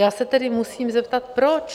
Já se tedy musím zeptat - proč?